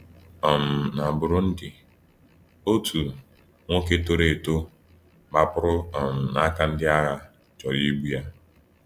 um Na Burundi, otu nwoke toro eto gbapụrụ um n’aka ndị agha chọrọ igbu ya.